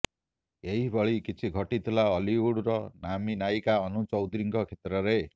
ଏହି ଭଳି କିଛି ଘଟିଥିଲା ଓଲିଉଡ଼୍ର ନାମୀ ନାୟିକା ଅନୁ ଚୌଧୁରୀଙ୍କ କ୍ଷେତ୍ରରେ